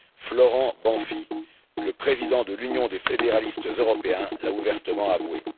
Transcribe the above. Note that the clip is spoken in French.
Florent Banfi, le président de l'Union des fédéralistes européens, l'a ouvertement avoué.